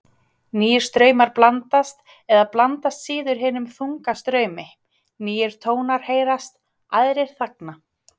Nýir straumar blandast eða blandast síður hinum þunga straumi, nýir tónar heyrast, aðrir þagna.